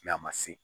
a ma se